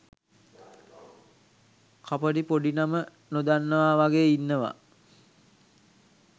කපටි පොඩි නම නොදන්නවා වගේ ඉන්නවා.